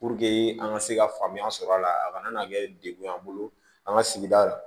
an ka se ka faamuya sɔrɔ a la a kana na kɛ de dekun y'an bolo an ka sigida la